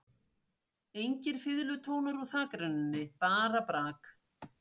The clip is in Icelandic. Engir fiðlutónar úr þakrennunni, bara brak.